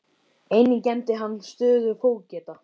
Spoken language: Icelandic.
Einnig gegndi hann stöðu fógeta.